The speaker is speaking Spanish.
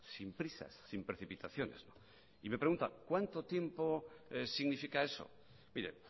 sin prisas sin precipitaciones y me pregunta cuánto tiempo significa eso mire